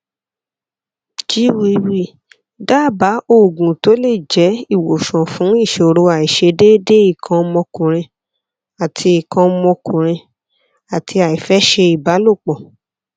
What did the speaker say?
jwiw daaba oogun to le je iwosan fun isoro aisedeede ikan omokunrin ati ikan omokunrin ati aife se ibalopo